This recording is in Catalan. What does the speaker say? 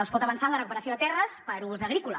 es pot avançar en la recuperació de terres per a ús agrícola